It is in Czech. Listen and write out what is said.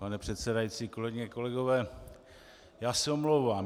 Pane předsedající, kolegyně, kolegové, já se omlouvám.